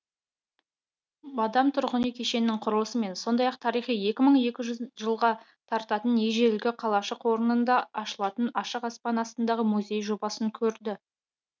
бадам тұрғын үй кешенінің құрылысымен сондай ақ тарихы екі мың екі жүз жылға тартатын ежелгі қалашық орнында ашылатын ашық аспан астындағы музей жобасын көрді